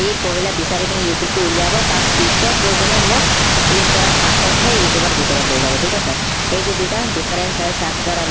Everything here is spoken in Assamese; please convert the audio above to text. সি পহিলা বিচাৰি পিনি youtube টো বিচাৰিব তাৰ পিছত গৈ পিনি মোক click কৰাৰ পাছত হে youtube ৰ ভিতৰত লৈ যাব ঠিক আছে এইটো দুটা difference হয়